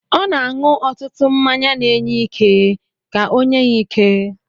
Ọ na-aṅụ ọtụtụ mmanya na-enye ike ka onye ya ike.